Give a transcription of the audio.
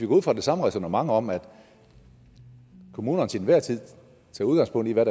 ud fra det samme ræsonnement om at kommunerne til enhver tid tager udgangspunkt i hvad